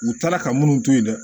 U taara ka minnu to yen dɛ